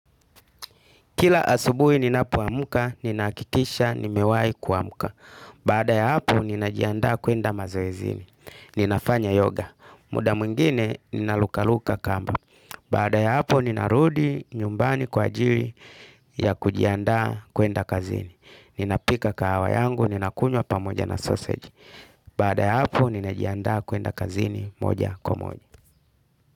Kila asubuhi ninapoamka, nina hakikisha, nimewai kuamka. Baada ya hapo, ninajiandaa kwenda mazoezini. Ninafanya yoga, muda mwingine, ninaruka-ruka kamba. Baada ya hapo, ninarudi nyumbani kwa ajili ya kujiandaa kwenda kazini. Ninapika kahawa yangu, ninakunywa pamoja na sausage. Baada ya hapo, ninajiandaa kwenda kazini moja kwa moja.